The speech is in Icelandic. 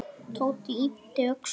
Tóti yppti öxlum.